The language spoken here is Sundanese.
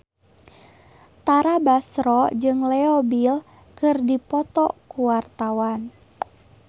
Tara Basro jeung Leo Bill keur dipoto ku wartawan